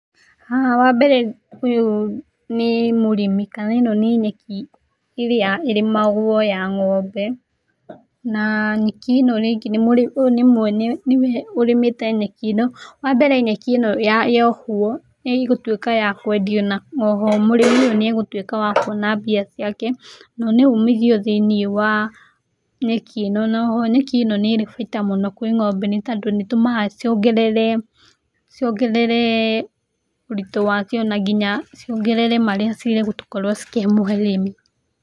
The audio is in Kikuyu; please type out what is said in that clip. Haha wa mbere ũyũ nĩ mũrĩmi kana eno nĩ nyeki ĩrĩa ĩrĩmagwo ya ng'ombe, na nyeki ĩno rĩngĩ ũyũ nĩ mwene, nĩ we ũrĩmĩte nyeki eno. Wa mbere nyeki ĩno yohwo nĩ ĩgũrũĩka ya kũendio na oho mũrĩmi ũyũ nĩ egũtũĩka wa kuona mbia ciake, na nĩ umithio thĩiniĩ wa nyeki ĩno na oho nyeki ĩno nĩ ĩrĩ bata mũno kwi ng'ombe tondũ nĩ ĩtũmaga ciongerere ũritũ wacio na nginya ciongerere marĩa cigũkorwo cikĩmũhe mũrĩmi.